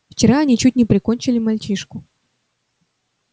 вчера они чуть не прикончили мальчишку